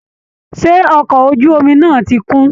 Ṣé ọkọ̀ ojú omi náà ti kún?